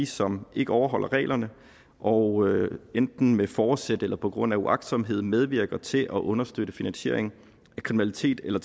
som ikke overholder reglerne og enten med forsæt eller på grund af uagtsomhed medvirker til at understøtte finansiering af kriminalitet eller